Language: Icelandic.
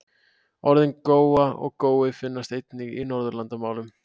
Orðin góa og gói finnast einnig í Norðurlandamálum.